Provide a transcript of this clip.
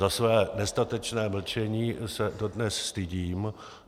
Za své nestatečné mlčení se dodnes stydím.